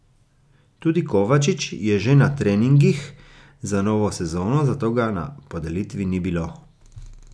Tudi Kovačič je že na treningih za novo sezono, zato ga na podelitvi ni bilo.